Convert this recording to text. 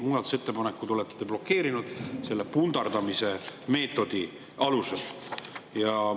Muudatusettepanekud olete te blokeerinud selle pundardamise meetodi abil.